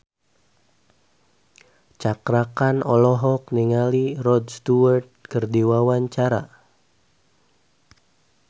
Cakra Khan olohok ningali Rod Stewart keur diwawancara